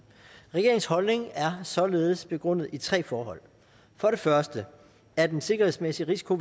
regeringens holdning er således begrundet i tre forhold for det første er en sikkerhedsmæssig risiko